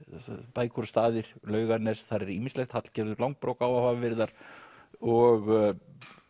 bækur og staðir Laugarnes þar er ýmislegt Hallgerður langbrók á að hafa verið þar og